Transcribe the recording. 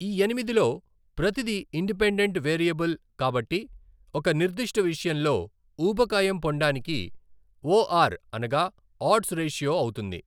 ఈ ఎనిమిదిలో ప్రతిది ఇండిపెండెంట్ వేరియబుల్ కాబట్టి ఒక నిర్దిష్ట విషయంలో ఊబకాయం పొండానికి ఓ ఆర్ అనగా ఆడ్స్ రేషియో అవుతుంది.